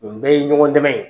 Nin bɛɛ ye ɲɔgɔn dɛmɛ ye.